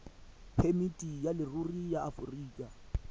phemiti ya leruri ya aforika